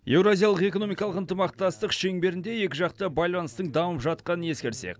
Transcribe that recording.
еуразиялық экономикалық ынтымақтастық шеңберінде екіжақты байланыстың дамып жатқанын ескерсек